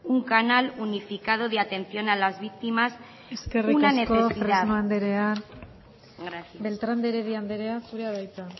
un canal unificado de atención a las víctimas una necesidad gracias eskerrik asko fresno andrea beltrán de heredia andrea zurea da hitza